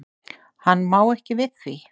Hann má ekki við því.